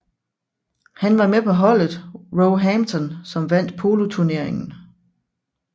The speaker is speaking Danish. Han var med på holdet Roehampton som vandt poloturneringen